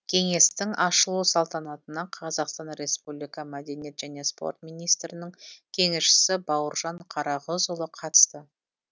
кеңестің ашылу салтантына қазақстан республика мәдениет және спорт министрінің кеңесшісі бауыржан қарағызұлы қатысты